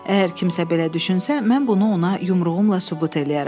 Əgər kimsə belə düşünsə, mən bunu ona yumruğumla sübut eləyərəm.